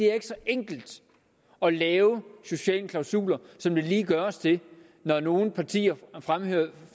er så enkelt at lave sociale klausuler som det lige gøres til når nogle partier